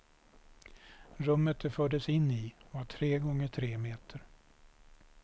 Rummet de fördes in i var tre gånger tre meter.